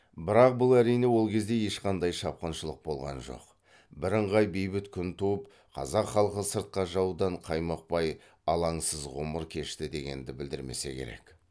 бірақ бұл әрине ол кезде ешқандай шапқыншылық болған жоқ бірыңғай бейбіт күн туып қазақ халқы сыртқы жаудан қаймықпай алаңсыз ғұмыр кешті дегенді білдірмесе керек